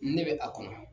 Ne bɛ a kɔnɔ